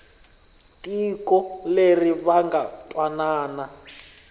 tiko leri va nga twanana